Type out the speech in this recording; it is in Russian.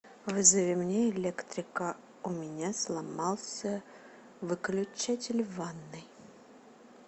вызови мне электрика у меня сломался выключатель в ванной